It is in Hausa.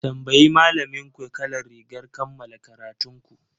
Tambayi malaminku kalar rigar kammala karatun ku!